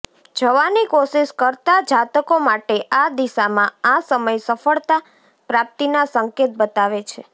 જવાની કોશિશ કરતા જાતકો માટે આ દિશામાં આ સમય સફળતા પ્રાપ્તિના સંકેત બતાવે છે